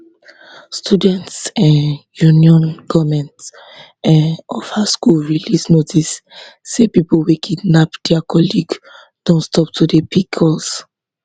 students um union goment um of her school release notice say pipo wey kidnap dia colleague don stop to dey pick calls